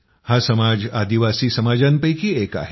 हा समाज आदिवासी समाजांपैकी एक आहे